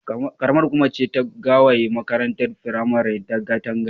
Ƙaramar hukuma ce ta gewaye makarantar firamaren da katanga.